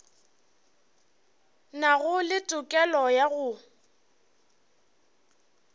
nago le tokelo ya go